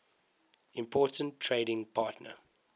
important trading partner